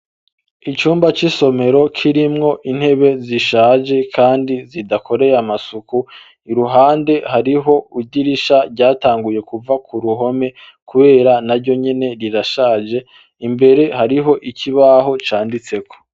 Icumba c'isomero kirimwo intebe zishaje kandi zidakoreye amasuku, iruhande hariho idirisha ryatanguye kuva ku ruhome kubera naryo nyene rirashaje, imbere hariho ikibaho canditseko.